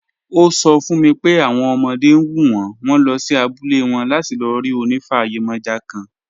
Ó sọ fún mi pé àwọn ọmọdé ń wù wọ́n, wọ́n lọ sí abúlé wọn láti lọ rí onifa yemoja kan.